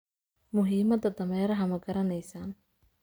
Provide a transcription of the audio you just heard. Muhiimada dameeraha ma garanaysaan